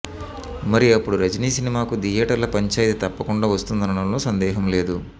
మరి అప్పుడు రజనీ సినిమాకు థియేటర్ల పంచాయితీ తప్పకుండా వస్తుందనడంలో సందేహం లేదు